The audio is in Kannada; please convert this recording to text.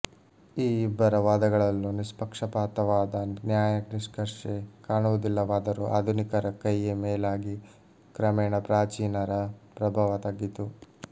ಈ ಇಬ್ಬರ ವಾದಗಳಲ್ಲೂ ನಿಷ್ಪಕ್ಷಪಾತವಾದ ನ್ಯಾಯನಿಷ್ಕರ್ಷೆ ಕಾಣುವುದಿಲ್ಲವಾದರೂ ಆಧುನಿಕರ ಕೈಯೆ ಮೇಲಾಗಿ ಕ್ರಮೇಣ ಪ್ರಾಚೀನರ ಪ್ರಭಾವ ತಗ್ಗಿತು